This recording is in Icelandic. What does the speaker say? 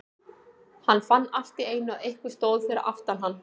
Hann fann allt í einu að einhver stóð fyrir aftan hann.